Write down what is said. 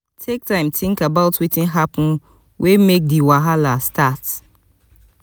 take time think about wetin happen wey make di wahala start